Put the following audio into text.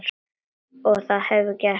Og það hefurðu gert.